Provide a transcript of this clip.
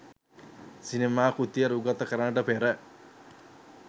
සිනමා කෘතිය රූගත කරන්නට පෙර